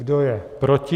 Kdo je proti?